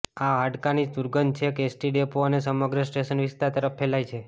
આ હાડકાની દુર્ગંધ છેક એસટી ડેપો અને સમગ્ર સ્ટેશન વિસ્તાર તરફ ફેલાય છે